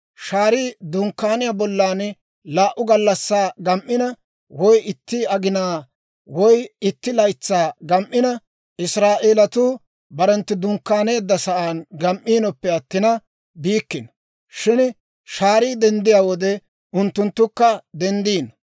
Shaarii Dunkkaaniyaa bollan laa"u gallassaa gam"ina, woy itti aginaa, woy itti laytsaa gam"ina, Israa'eelatuu barenttu dunkkaaneeddasan gam"iinoppe attina biikkino. Shin shaarii denddiyaa wode unttunttukka denddino.